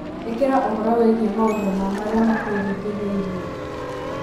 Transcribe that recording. ikira uhoro wigii maũndũ ma maria matuiringiriirie